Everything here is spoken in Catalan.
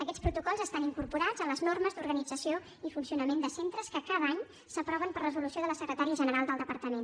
aquests protocols estan incorporats a les normes d’organització i funcionament de centres que cada any s’aproven per resolució de la secretària general del departament